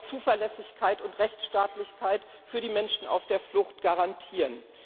Wir wollen auch Zuverlässigkeit und Rechtsstaatlichkeit für die Menschen auf der Flucht garantieren.